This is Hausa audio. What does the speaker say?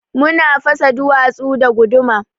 Muna fasa duwatsu da guduma.